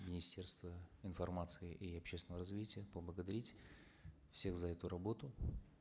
министерства информации и общественного развития поблагодарить всех за эту работу